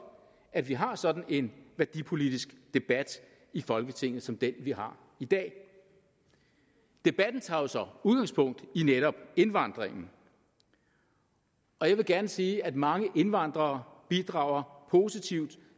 at vi har sådan en værdipolitisk debat i folketinget som den vi har i dag debatten tager jo så udgangspunkt i netop indvandringen jeg vil gerne sige at mange indvandrere bidrager positivt